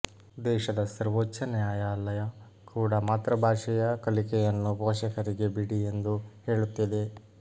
ದೇಶದ ಸರ್ವೋಚ್ಛ ನ್ಯಾಯಾಲಯ ಕೂಡ ಮಾತೃಭಾಷೆಯ ಕಲಿಕೆಯನ್ನು ಪೋಷಕರಿಗೆ ಬಿಡಿ ಎಂದು ಹೇಳುತ್ತಿದೆ